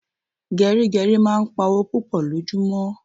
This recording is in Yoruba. Gerigeri máa ń pá owó púpò lojumo